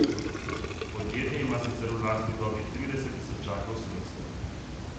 Podjetje ima sicer v lasti le dobrih trideset tisočakov sredstev.